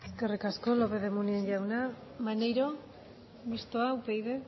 eskerik asko lópez de munain jauna maneiro mistoa upyd